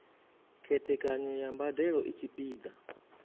khethekanyo ya mbadelo i tshipiḓa